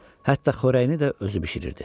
Hətta xörəyini də özü bişirirdi.